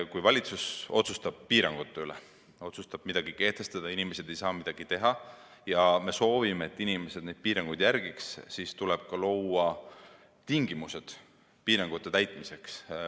Kui valitsus otsustab piirangud kehtestada ja inimesed ei saa midagi teha ning kui me soovime, et inimesed neid piiranguid järgiks, siis tuleb luua ka tingimused piirangute täitmiseks.